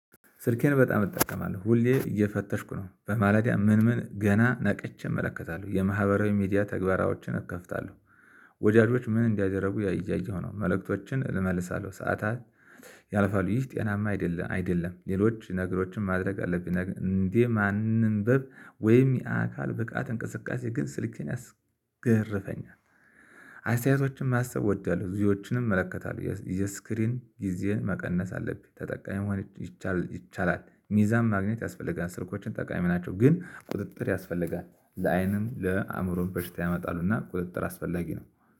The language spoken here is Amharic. ስልኬን በጣም እጠቀማለሁ ሁሌ እየፈተሽኩ ነው በማለዳ ምን ምን ገና ነቅቼ እመለከታለሁ የማህበራዊ ሚዲያ ተግባራዎችን እከፍታለሁ። ወዳጆች ምን እንዳደርጉ እያየሁ ነው መልእክቶችን እመልሳለሁ ሰዓታት ያልፋሉ። ይህ ጤናማ አይደለም አይደለም። ሌሎች ነገሮችን ማድረግ አለብን እንዴ ማንበብ ወይም የአካል ብቃት እንቅስቃሴ ግን ስልኬን ያስገርፈኛል። አስተያየቶችን ማሰብ ወደዋለሁ እዚህዎችንም መለከታለሁ የስክሪን ጊዜን መቀነስ አለብኝ ተጠቃሚ መሆን ይቻላል። ሚዛን ማግኘት ያስፈልጋል። ስልኮችን ጠቃሚ ናቸው ግን ቁጥጥር ያስፈልጋል። ለአይንም ለአእምሮም በሽታ ያመጣሉና ቁጥጥር አስፈላጊ ነው